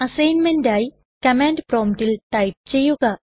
അസൈൻമെന്റായി command പ്രൊമ്പ്റ്റിൽ type ചെയ്യുക